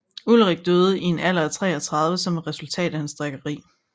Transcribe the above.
Ulrich døde i en alder af 33 som et resultat af hans drikkeri